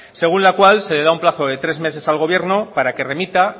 según la cual se le da un plazo de tres meses al gobierno para que remita